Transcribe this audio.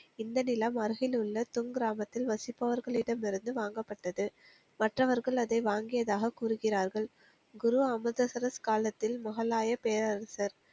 இந்த நிலம் அருகில் உள்ள தும் கிராமத்தில் வசிப்பவர்களிடம் இருந்து வாங்கப்பட்டது மற்றவர்கள் அதை வாங்கியதாக கூறுகிறார்கள் குரு அமுதசரஸ் காலத்தில் முகலாய பேரரசர்